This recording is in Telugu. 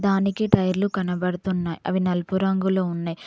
దానికి టైర్లు కనబడుతున్నాయ్ అవి నలుపు రంగులో ఉన్నయ్.